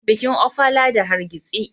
An gama bikin Ofala da hargitsi.